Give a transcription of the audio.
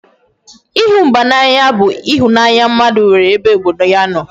Ịhụ mba n'anya bụ ịhụnanya mmadụ nwere ebe obodo ya nọ